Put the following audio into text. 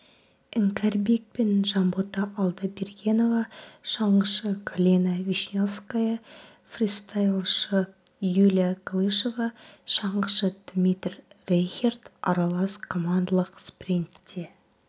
іңкәрбекпен жанбота алдабергенова шаңғышы галина вишневская фристайлшы юлия галышева шаңғышы дмитрий рейхерд аралас командалық спринтте